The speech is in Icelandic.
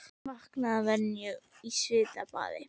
Vaknaði að venju upp í svitabaði.